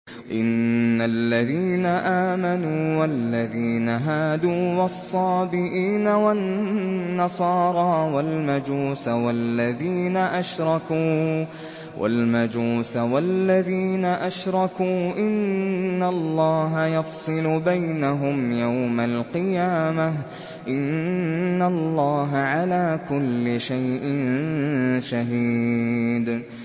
إِنَّ الَّذِينَ آمَنُوا وَالَّذِينَ هَادُوا وَالصَّابِئِينَ وَالنَّصَارَىٰ وَالْمَجُوسَ وَالَّذِينَ أَشْرَكُوا إِنَّ اللَّهَ يَفْصِلُ بَيْنَهُمْ يَوْمَ الْقِيَامَةِ ۚ إِنَّ اللَّهَ عَلَىٰ كُلِّ شَيْءٍ شَهِيدٌ